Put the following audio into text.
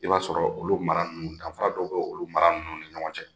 I b'a sɔrɔ olu mara nUnnu danfa dɔ bɛ olu mara nunnu ni ɲɔgɔn cɛ.